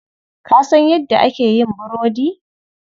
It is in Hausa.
Ka san yadda ake yin burodi?